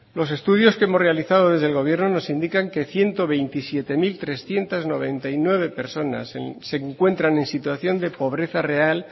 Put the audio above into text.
los estudios que hemos realizados desde el gobierno nos indican que ciento veintisiete mil trescientos noventa y nueve personas se encuentran en situación de pobreza real